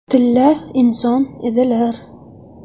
Tilla inson edilar.